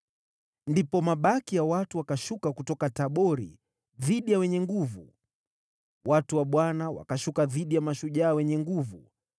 “Ndipo mabaki ya watu wakashuka dhidi ya wenye nguvu, watu wa Bwana , wakashuka dhidi ya mashujaa wenye nguvu.